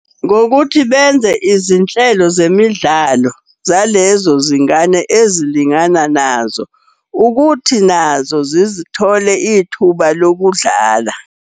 Ngokuthi benze izinhlelo zemidlalo zalezo zingane ezilingana nazo. Ukuthi nazo zithole ithuba lokudlala.